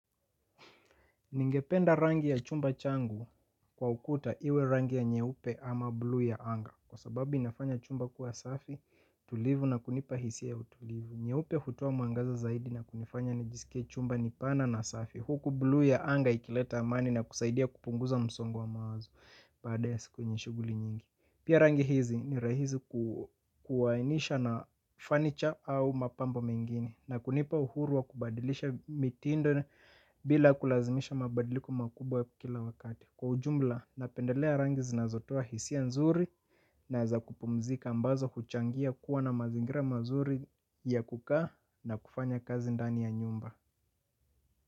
Ningependa rangi ya chumba changu kwa ukuta iwe rangi ya nyeupe ama bluu ya anga. Kwa sababu inafanya chumba kuwa safi tulivu na kunipa hisia ya utulivu. Nyeupe hutoa mwangaza zaidi na kunifanya nijisikie chumba ni pana na safi. Huku bluu ya anga ikileta amani na kusaidia kupunguza msongo wa mawazo baada ya siku yenye shughuli nyingi. Pia rangi hizi ni rahisi kuainisha na fanicha au mapamba mengine na kunipa uhuru wa kubadilisha mitindo bila kulazimisha mabadiliko makubwa kila wakati. Kwa ujumla, napendelea rangi zinazotoa hisia nzuri na za kupumzika ambazo huchangia kuwa na mazingira mazuri ya kukaa na kufanya kazi ndani ya nyumba.